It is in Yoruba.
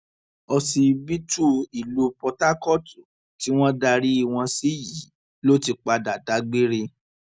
òsibítù ìlú port harcourt tí wọn darí wọn sí yìí ló ti padà dágbére